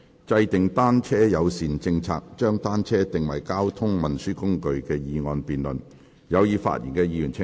"制訂單車友善政策，將單車定為交通運輸工具"的議案辯論。